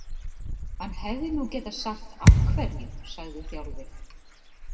Hann hefði nú getað sagt af hverju, sagði Þjálfi.